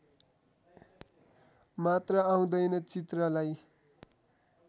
मात्र आउँदैन चित्रलाई